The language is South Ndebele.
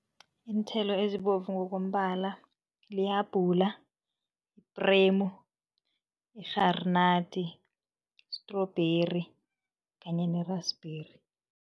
Iinthelo ezibovu ngokombala lihabhula, ipremu, i-granaat, strawberry kanye ne-raspberry.